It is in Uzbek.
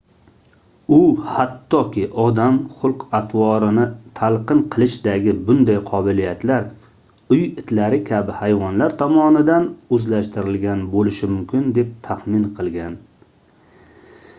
u hattoki odam xulq-atrvorini talqin qilishdagi bunday qobiliyatlar uy itlari kabi hayvonlar tomonidan oʻzlashtirilgan boʻlishi mumkin deb taxmin qilgan